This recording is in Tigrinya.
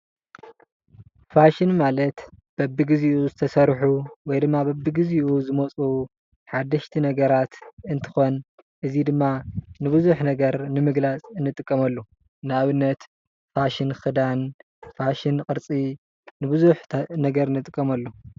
ፋሽን ማለት በብግዚኡ ዝተስርሒ ወይ ድማ በብግዚኡ ዘመፁ ሓደሽቲ ነገራት እንትኾን ንቡዙሕ ነገር ንምግለፅ ንጥቀመሉ። ን ኣብነት ፋሽን ክዳን ፣ ፋሽን ቅርፂ ንብዙሕ ነገር ንጥቀመሉ